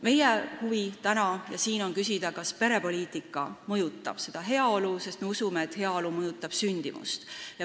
Meie huvi täna ja siin on küsida, kas perepoliitika mõjutab heaolu, sest me usume, et heaolu mõjutab sündimust.